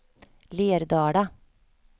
Lerdala